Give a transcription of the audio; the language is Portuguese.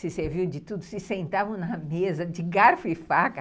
Se serviam de tudo, se sentavam na mesa de garfo e faca.